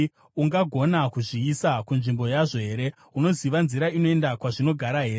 Ungagona kuzviisa kunzvimbo yazvo here? Unoziva nzira inoenda kwazvinogara here?